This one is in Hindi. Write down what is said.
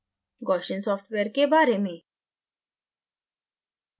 gaussian सॉफ्टवेयर के बारे में